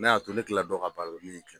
N y'a to ne kila dɔn k'a baara la ne